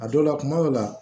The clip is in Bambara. A dɔw la kuma dɔw la